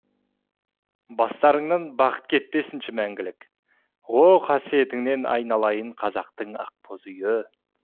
бастарыңнан бақыт кетпесінші мәңгілік о қасиетіңнен айналайын қазақтың ақбоз үйі